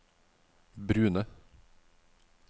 brune